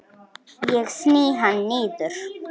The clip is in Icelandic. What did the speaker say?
Ég sný hana niður.